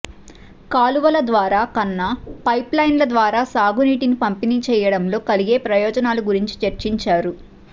కాలువల ద్వారా కన్నా పైప్లైన్ల ద్వారా సాగునీటిని పంపిణీ చేయడంలో కలిగే ప్రయోజనాల గురించి చర్చించారు